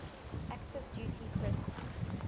active duty personnel